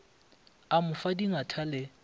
a mo fa dingatha le